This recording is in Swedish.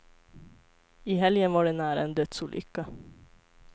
I helgen var det nära en dödsolycka.